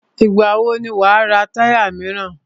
Ìgbà wò ni wà á ra táyà míràn?